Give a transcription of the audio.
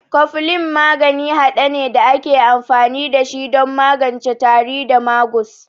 Koflin maganin hade ne da ake amfani da shi don magance tari da magus.